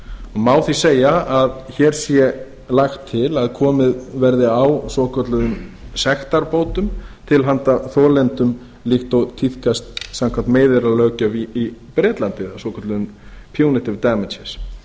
má því segja að að hér sé lagt til að komið verði á svokölluðum sektarbótum til handa þolendum líkt og tíðkast samkvæmt meiðyrðalöggjöf í bretlandi eða svokölluðum punitive damages